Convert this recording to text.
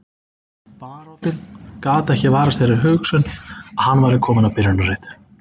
Baróninn gat ekki varist þeirri hugsun að hann væri kominn á byrjunarreit.